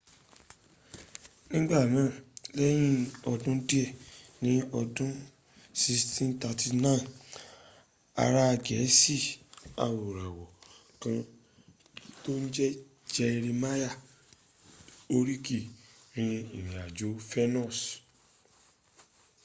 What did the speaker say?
nigbanaa lẹyin ọdun diẹ ni ọdun 1639 ara gẹẹsi awoirawọ kan to n jẹ jerimaya horiki ri irin ajo fenus